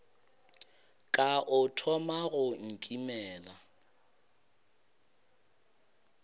ka o thoma go nkimela